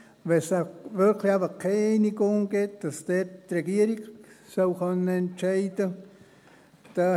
Wenn es wirklich keine Einigung gibt, dann soll die Regierung entscheiden können.